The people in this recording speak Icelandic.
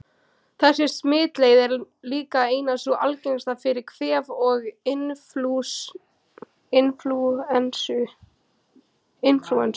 Þessi smitleið er líka ein sú algengasta fyrir kvef og inflúensu.